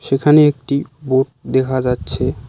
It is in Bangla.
এখানে একটি বোট দেখা যাচ্ছে।